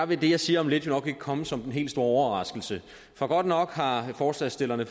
vil det jeg siger om lidt nok ikke komme som den helt store overraskelse for godt nok har forslagsstillerne